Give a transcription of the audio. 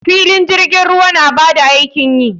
Filin jirgin ruwa na ba da aikin yi.